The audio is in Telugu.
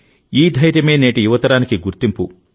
ఈ ధైర్యమే నేటి యువతరానికి గుర్తింపు